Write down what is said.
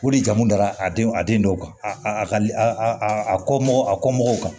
O de jamu dala a den a den dɔw kan a a ka a kɔ a kɔ mɔgɔw kan